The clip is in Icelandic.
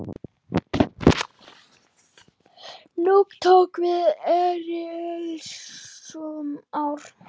Nú tóku við erilsöm ár.